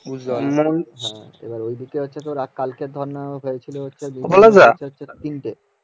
পলাশ দা বলছি মন্দির এ কবে পূজা যেন